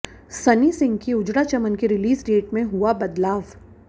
सनी सिंह की उजड़ा चमन की release date में हुआ बदलाव